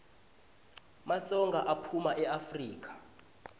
matsonga aphuma eafrika